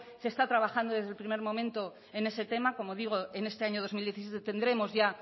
se está trabajando desde el primer momento en ese tema como digo en este año dos mil diecisiete tendremos ya